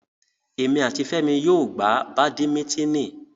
Emi ati Femi yóò gba Badimitini